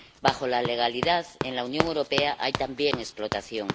Bajo la legalidad, en la Unión Europea hay también explotación.